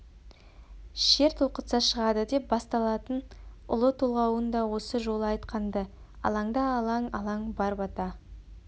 шер толқытса шығады деп басталатын ұлы толғауын да осы жолы айтқан-ды алаңда алаң алаң бар бата